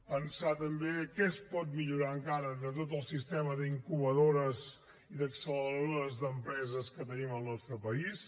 pensar també què es pot millorar encara de tot el sistema d’incubadores i d’acceleradores d’empreses que tenim al nostre país